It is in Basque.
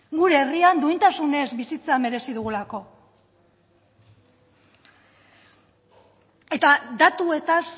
gure herrian duintasunez bizitza merezi dugulako eta datuetaz